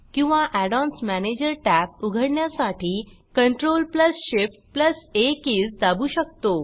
किंवा add ons manager tab उघडण्यासाठी CTRLShiftA keys दाबू शकतो